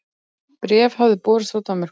Bréf hafði borist frá Danmörku.